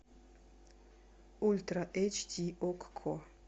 ультра эйч ди окко